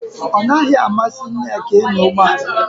Ọ naghị amasị Nneka ịnya ụgbọ ala